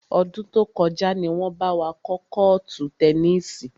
Ọdún tó kọjá ni wọn bá wa kọ́ kọ́ọ́tù tẹnísì.